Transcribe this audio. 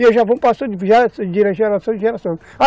E eles já vão passando de geração em geração.